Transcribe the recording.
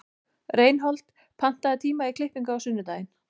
Reinhold, pantaðu tíma í klippingu á sunnudaginn.